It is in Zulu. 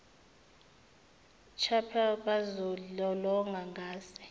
chapel bezilolonga ngase